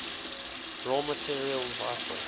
raw materials vital